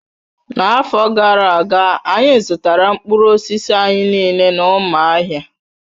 N'afọ gara aga, anyị zụtara mkpụrụ osisi anyị niile n'Umuahia